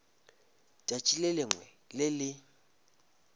tšatši le lengwe le le